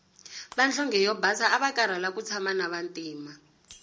vanhlonge yo basa avakarhala ku tshama na vantima